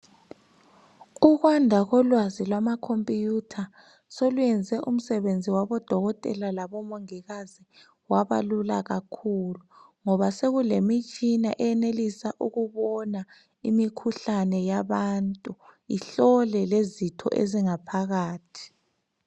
Ukwanda kolwazi lwamacomputer soluyenze umsebenzi wabodokotela labomongikazi waba lula kakhulu ngoba sokulemitshina eyenelisa ukubona imikhuhlane yabantu ihlole lezitho ezingaphakathi .